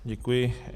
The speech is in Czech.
Děkuji.